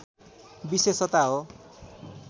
विशेषता हो